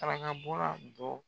trangabɔla dɔ